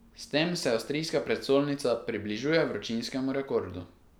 S tem se avstrijska prestolnica približuje vročinskemu rekordu.